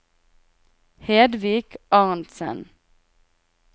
Hedvig Arntsen